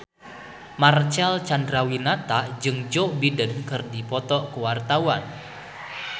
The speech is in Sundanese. Marcel Chandrawinata jeung Joe Biden keur dipoto ku wartawan